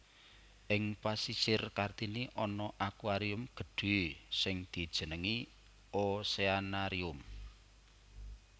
Ing Pasisir Kartini ana aquarium gedhé sing dijenengi Oceanarium